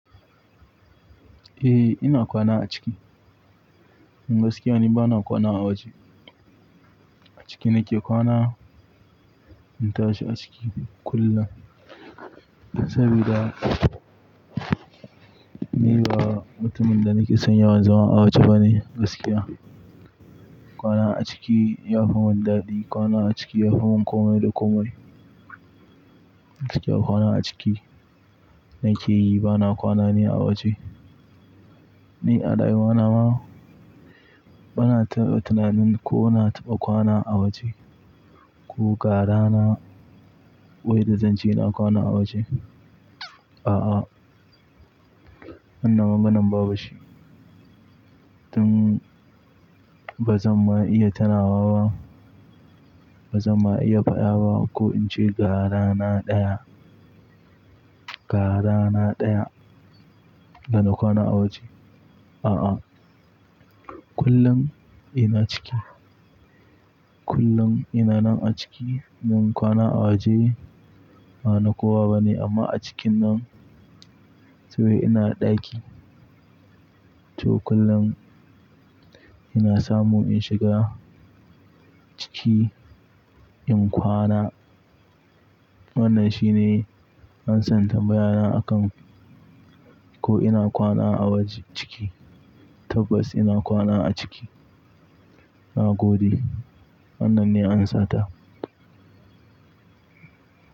Eh, ina kwana a ciki. Kuma gaskiya ni ba na kwana a waje. A ciki nake kwana. In zauna a ciki kullum saboda ni ba mutumin da nake son yawan zama a waje bane gaskiya. Kwana a ciki ya fi min dadi. Kwana a ciki ya fi min komai da komai. Gaskiya kwana a ciki nake yi bana kwana ni a waje. Ni a rayuwata ma ba na taba tunanin ko na taba kwana a waje. Ko ga wata rana da zance na kwana a waje. A'a, wannan maganar babu ita. Tun ba zan ma iya tunawa ba. Ba zan ma iya fada ba ko in ce ga rana ɗaya, gara na ɗaya da na kwana a waje. A'a, kullum ina ciki. Kullum ina nan a ciki. Mun kwana a waje amma a cikin nan saboda ina da ɗaki. To kullum ina samu in shiga ciki in kwana. Wannan shine ansar tambayata akan ko ina kwana a waje ciki. Tabbas ina kwana a ciki. Na gode. Wannan ce amsata.